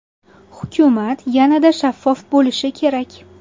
Hukumat yanada shaffof bo‘lishi kerak.